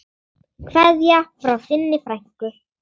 Kveðja frá þinni frænku.